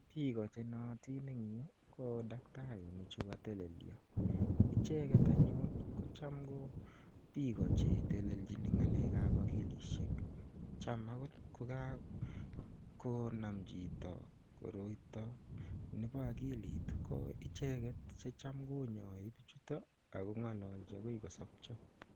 Piiko che naatin eng' yu ko daktarinichu katelelso. Iche get anyun ko cham ko piko che telelching ng'alek ap akilishek. Cham agot ko kakonam chito koroito nepo akili ko cham ko icheget che cham konyai pichu ak ko ng'alalchi akoi kosapcha.